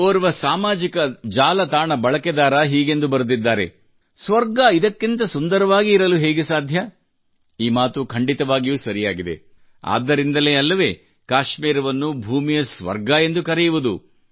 ಓರ್ವ ಸಾಮಾಜಿಕ ಜಾಲತಾಣ ಬಳಕೆದಾರ ಹೀಗೆಂದು ಬರೆದಿದ್ದಾರೆ ಸ್ವರ್ಗ ಇದಕ್ಕಿಂತ ಸುಂದರವಾಗಿ ಇರಲು ಹೇಗೆ ಸಾಧ್ಯ ಈ ಮಾತು ಖಂಡಿತವಾಗಿಯೂ ಸರಿಯಾಗಿದೆ ಆದ್ದರಿಂದಲೇ ಅಲ್ಲವೇ ಕಾಶ್ಮೀರವನ್ನು ಭೂಮಿಯ ಸ್ವರ್ಗ ಎಂದು ಕರೆಯುವುದು